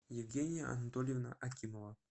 евгения анатольевна акимова